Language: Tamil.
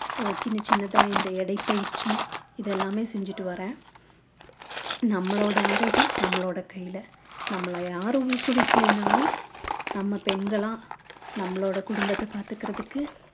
சின்ன சின்னதா இந்த எடைப்பயிற்சி இதெல்லாமே செஞ்சிட்டு வர்றேன் நம்மளோட ஆரோக்கியம் நம்மளோட கையில நம்மள யாரும் ஊக்குவிக்கல நாலும் நம்ம பெண்களா நம்மளோட குடும்பத்தை பாத்துக்குறதுக்கு